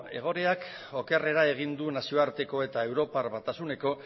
egoerak okerrera egin du nazioarteko eta europar batasuneko